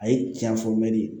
A ye tiɲɛ fɔ mɛli